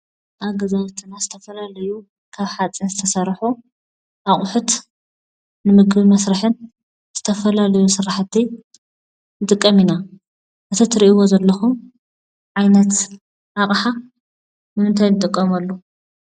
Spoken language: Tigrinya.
ኣብ ገዛውቲና ዝተፈላለዩ ካብ ሓፂን ዝተሰርሑ ኣቑሑት ንምግቢ መስርሕን ዝተፈላለዩ ስራሕቲ ንጥቀም እና። እዚ ትሪእዎ ዘለኩም ዓይነት ኣቕሓ ንምንታይ ንጥቀመሉ ?